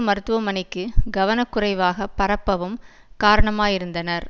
மருத்துவமனைக்கு கவனக்குறைவாக பரப்பவும் காரணமாயிருந்தனர்